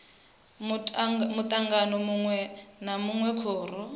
mutangano munwe na munwe khoro